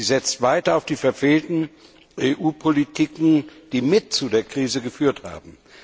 Sie setzt weiter auf die verfehlten EU Politiken, die mit zu der Krise geführt haben.